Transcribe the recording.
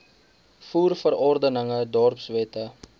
voer verordeninge dorpswette